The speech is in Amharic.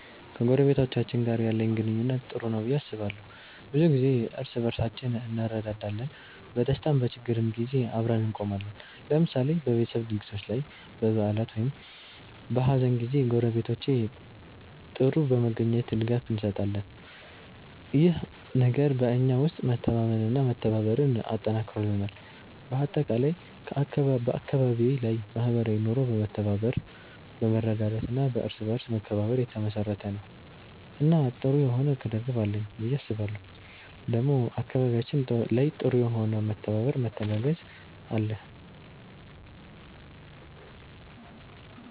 ከጎረቤቶቼ ጋር ያለኝ ግንኙነት ጥሩ ነው ብዬ አስባለሁ። ብዙ ጊዜ እርስ በርሳችን እንረዳዳለን፣ በደስታም በችግርም ጊዜ አብረን እንቆማለን። ለምሳሌ በቤተሰብ ድግሶች ላይ፣ በበዓላት ወይም በሀዘን ጊዜ ጎረቤቶቼ ጥር በመገኘት ድጋፍ እንሰጣጣለን። ይህ ነገር በእኛ ውስጥ መተማመንና መተባበርን አጠንክሮልናል። በአጠቃላይ አካባቢዬ ላይ ማህበራዊ ኑሮ በመተባበር፣ በመረዳዳት እና በእርስ በርስ መከባበር የተመሰረተ ነው እና ጥሩ የሆነ ቅርርብ አለኝ ብዬ አስባለሁ ዴሞ አካባቢያችን ላይ ጥሩ የሆነ መተባበር መተጋገዝ አለ።